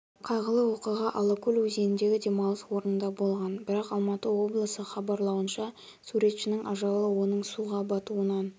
қайғылы оқиға алакөл өзеніндегі демалыс орнында болған бірақ алматы облысы хабарлауынша суретшінің ажалы оның суға батуынан